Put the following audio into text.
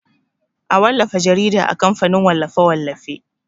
A wallafa jarida a kamfanin wallafe-wallafe.